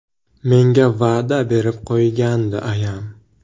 Menga va’da berib qo‘ygandi ayam.